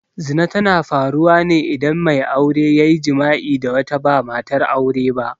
Zina tana faruwa ne idan mai aure ya yi jima'i da wata ba matar aure ba.